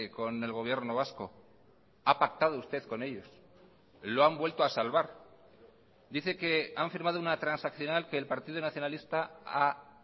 con el gobierno vasco ha pactado usted con ellos lo han vuelto a salvar dice que han firmado una transaccional que el partido nacionalista ha